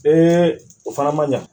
o fana man ɲa